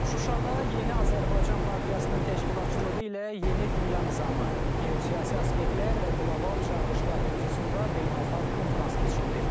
Şuşada Yeni Azərbaycan Partiyasının təşkilatçılığı ilə Yeni Dünya Nizamı, geosiyasi aspektlər və qlobal çağırışlar mövzusunda beynəlxalq konfrans keçirilir.